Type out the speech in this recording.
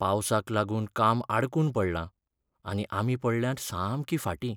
पावसाक लागून काम आडकून पडलां आनी आमी पडल्यांत सामकीं फाटीं.